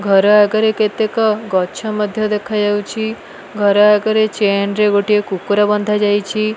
ଘର ଆଗରେ କେତେକ ଗଛ ମଧ୍ୟ ଦେଖାଯାଉଛି ଘର ଆଗରେ ଚେନ୍ ରେ ଗୋଟିଏ କୁକୁର ବନ୍ଧା ଯାଇଛି।